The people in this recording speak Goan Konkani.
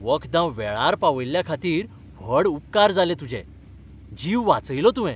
वखदां वेळार पावयल्ल्याखातीर व्हड उपकार जाले तुजे. जीव वाचयलो तुवें .